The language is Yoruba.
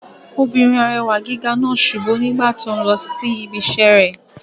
Obìnrin arẹwà gíga náà subú nígbà tó n lọ sí ibi iṣẹ́ rẹ̀